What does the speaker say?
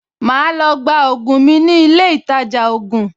Màá lọ gba ògùn mi ní ilé ìtajà ògùn